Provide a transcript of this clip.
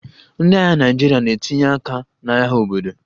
Ndị agha Naịjirịa na-etinye aka n'agha obodo